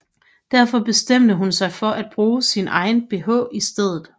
Derfor bestemte hun sig for at bruge sin egen bh i stedet